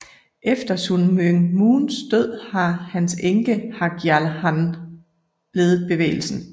Efter Sun Myung Moons død har hans enke Hak Ja Han ledet bevægelsen